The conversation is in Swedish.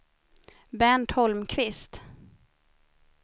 Bernt Holmqvist